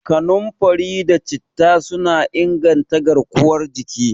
Kanunfari da Citta suna inganta garkuwar jiki.